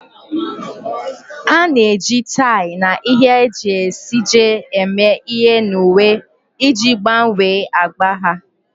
A na-eji tie na ihe e ji esiji eme ihe na uwe iji gbanwee agba ha.